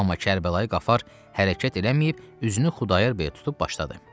Amma Kərbəlayı Qafar hərəkət eləməyib, üzünü Xudayar bəyə tutub başladı: